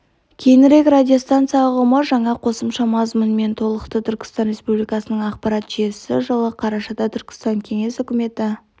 кейінірек радиостанция ұғымы жаңа қосымша мазмұнмен толықты түркістан республикасының ақпарат жүйесі жылы қарашада түркістан кеңес үкіметі